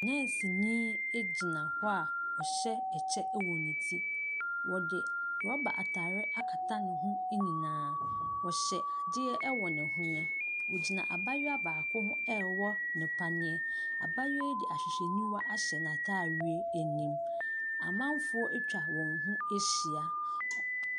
Nɛɛseni gyina hɔ a ɔhyɛ ɛkyɛ wɔ ne ti. Ɔde rɔba atade akata ne ho nyinaa. Ɔhyɛ adeɛ wɔ ne hwene. Ɔgyina abaayewa baako ho rewɔ no paneɛ. Abaayewa yi de ahwehwɛniwa ahyɛ n'atadeɛ anim. Amanfoɔ atwa wɔn no ahyia.